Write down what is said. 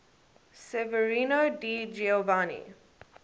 severino di giovanni